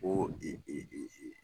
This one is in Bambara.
Ko e e e e